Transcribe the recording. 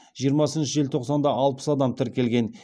жиырмасыншы желтоқсанда алпыс адам тіркелген